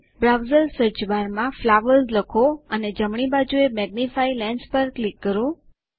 browser search બારમાં flowers લખો અને જમણી બાજુએ મેગ્નિફાઇંગ લેન્સ પર ક્લિક કરો